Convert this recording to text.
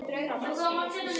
Þín dóttir, Guðrún Björg.